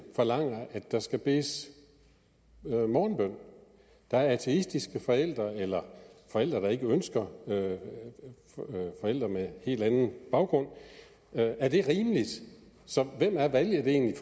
forlanger at der skal bedes morgenbøn der er ateistiske forældre eller forældre der ikke ønsker det forældre med en helt anden baggrund er det rimeligt så hvem er valget egentlig